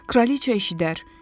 Kralıca eşidər.